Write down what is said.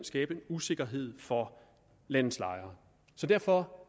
skabe en usikkerhed for landets lejere derfor